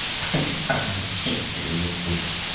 обещаю я не буду